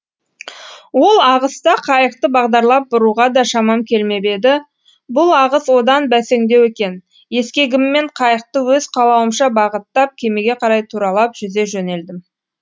ол ағыста қайықты бағдарлап бұруға да шамам келмеп еді бұл ағыс одан бәсеңдеу екен ескегіммен қайықты өз қалауымша бағыттап кемеге қарай туралап жүзе жөнелдім